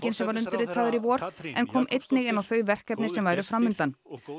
sem var undirritaður í vor en kom einnig inn á þau verkefni sem væru fram undan